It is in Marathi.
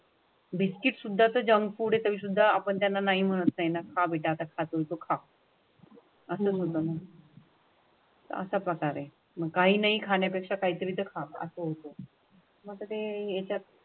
बिस्किट सुद्धा जंक फुड तरी सुद्धा आपण त्यांना नाही म्हणता येणार हा विळखा. अशा प्रकारे काही नाही खाण्यापेक्षा काहीतरी खात असेल तर मग ते याच्यात.